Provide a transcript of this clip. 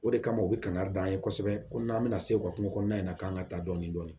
O de kama u bɛ kangari d'an ye kosɛbɛ ko n'an bɛna se u ka kungo kɔnɔna in na k'an ka taa dɔɔnin dɔɔnin